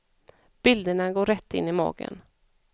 Bilderna går rätt in i magen.